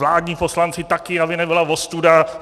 Vládní poslanci taky, aby nebyla ostuda.